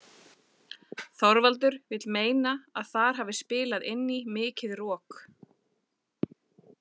Þorvaldur vill meina að þar hafi spilað inn í mikið rok.